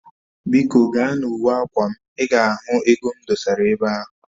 Biko gaa na uwe akwa m, i ga ego m dosara ebe ahu